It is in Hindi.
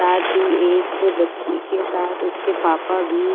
साथ ही एक बच्ची के साथ उसके पापा भी--